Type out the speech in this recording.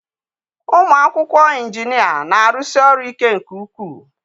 Ụmụ akwụkwọ injinia na-arụsi ọrụ ike nke ukwuu.